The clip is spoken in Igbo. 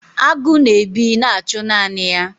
agụ na-ebi na-achụ naanị ya.